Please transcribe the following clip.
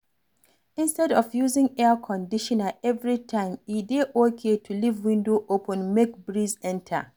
Instead of using Air Conditioner every time e dey okay to leave window open make breeze enter